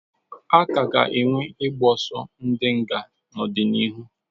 A ka ga-enwe ịgbọsọ ndi nga n'ọdịnihu.